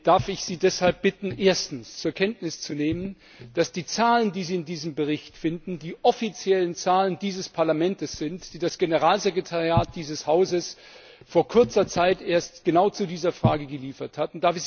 Darf ich Sie deshalb bitten, erstens zur Kenntnis zu nehmen, dass die Zahlen, die Sie in diesem Bericht finden, die offiziellen Zahlen dieses Parlaments sind, die das Generalsekretariat dieses Hauses vor kurzer Zeit erst genau zu dieser Frage geliefert hat?